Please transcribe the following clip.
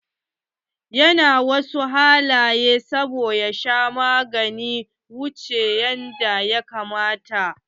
Ya na ta wasu halaye saboda ya sha maganin wuche yanda ya kamata.